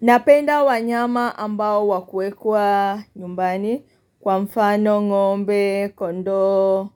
Napenda wanyama ambao wakuekwa nyumbani kwa mfano, ngombe, kondoo,